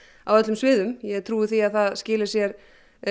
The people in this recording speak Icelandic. á öllum sviðum ég hef trú á því að það skili sér